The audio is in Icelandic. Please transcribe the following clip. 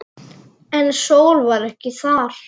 En Sóla var ekki þar.